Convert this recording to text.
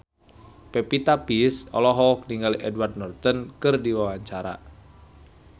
Pevita Pearce olohok ningali Edward Norton keur diwawancara